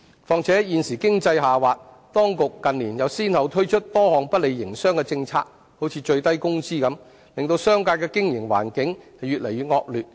況且，現時經濟下滑，當局近年又先後推出多項不利營商的政策如最低工資等，令商界的經營環境越來越惡劣。